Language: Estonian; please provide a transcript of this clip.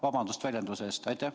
Vabandust väljenduse eest!